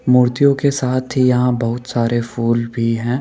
मूर्तियों के साथ ही यहां बहुत सारे फूल भी हैं।